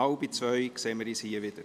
Wir sehen uns um 13.30 Uhr wieder.